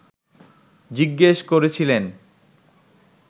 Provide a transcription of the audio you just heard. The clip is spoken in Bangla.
জিজ্ঞেস করেছিলেন